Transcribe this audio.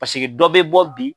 Paseke dɔ bɛ bɔ bi,